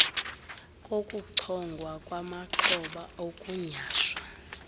kokuchongwa kwamaxhoba okunyhashwa